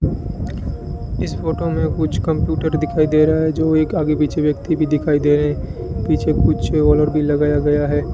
इस फोटो में कुछ कंप्यूटर दिखाई दे रहा है जो एक आगे पीछे व्यक्ति भी दिखाई दे रहे हैं पीछे कुछ ओलर भी लगाया गया है।